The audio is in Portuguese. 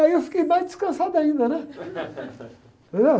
E aí eu fiquei mais descansado ainda, né? Entendeu?